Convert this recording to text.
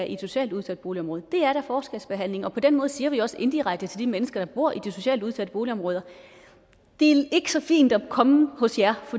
i et socialt udsat boligområde det er da forskelsbehandling og på den måde siger vi også indirekte til de mennesker der bor i de socialt udsatte boligområder det er ikke så fint at komme hos jer